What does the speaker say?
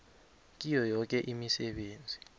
kiyo yoke imisebenzi